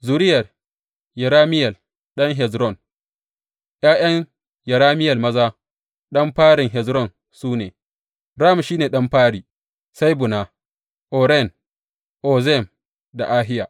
Zuriyar Yerameyel ɗan Hezron ’Ya’yan Yerameyel maza, ɗan farin Hezron su ne, Ram shi ne ɗan fari, sai Buna, Oren, Ozem da Ahiya.